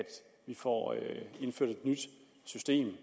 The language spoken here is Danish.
få indført et nyt system